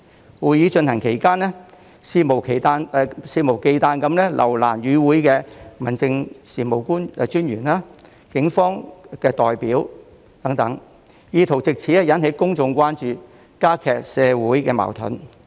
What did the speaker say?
在會議進行期間，他們肆無忌憚地留難與會的民政事務專員、警方代表等，意圖藉此引起公眾關注、加劇社會矛盾。